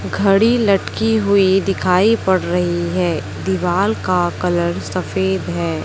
घड़ी लटकी हुई दिखाई पड़ रही है। दीवाल का कलर सफेद है।